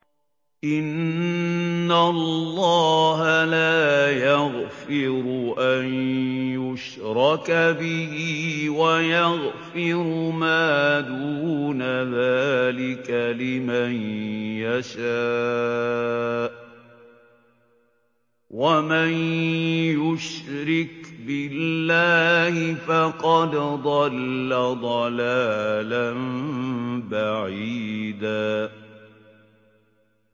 إِنَّ اللَّهَ لَا يَغْفِرُ أَن يُشْرَكَ بِهِ وَيَغْفِرُ مَا دُونَ ذَٰلِكَ لِمَن يَشَاءُ ۚ وَمَن يُشْرِكْ بِاللَّهِ فَقَدْ ضَلَّ ضَلَالًا بَعِيدًا